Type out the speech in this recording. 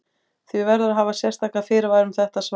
Því verður að hafa sérstaka fyrirvara um þetta svar.